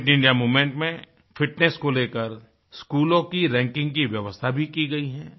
fit India movement में fitness को लेकर स्कूलों की रैंकिंग की व्यवस्था भी की गई हैं